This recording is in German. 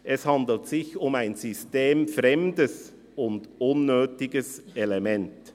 «Es handelt sich um ein systemfremdes und unnötiges Element.